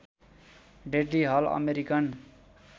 deadly हल American